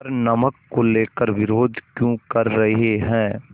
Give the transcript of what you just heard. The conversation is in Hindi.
पर नमक को लेकर विरोध क्यों कर रहे हैं